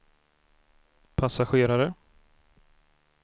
passagerare